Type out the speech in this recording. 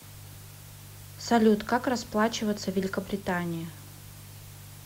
салют как расплачиваться в великобритании